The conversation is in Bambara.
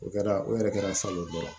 O kɛra o yɛrɛ kɛra salon ye